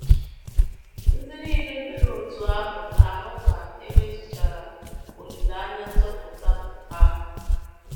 Ndị nile mere otú ahụ ga - ahụ ka e mezuchara “ olileanya nzọpụta ” ha!